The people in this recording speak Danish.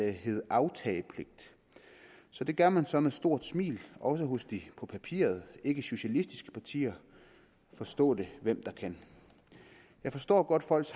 det hedde aftagepligt det gør man så med store smil også hos de på papiret ikkesocialistiske partier forstå det hvem der kan jeg forstår godt